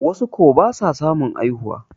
wasu ko ba sa samun haihuwa